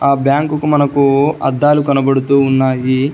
ఆ బ్యాంకుకు మనకూ అద్దాలు కనబడుతూ ఉన్నాయి.